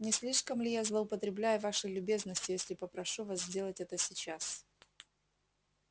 не слишком ли я злоупотребляю вашей любезностью если попрошу вас сделать это сейчас